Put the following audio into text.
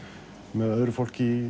með öðru fólki